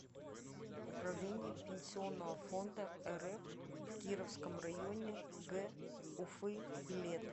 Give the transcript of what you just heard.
управление пенсионного фонда рф в кировском районе г уфы билет